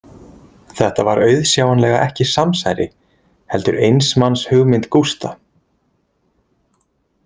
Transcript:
Þetta var auðsjáanlega ekki samsæri, heldur eins manns hugmynd Gústa.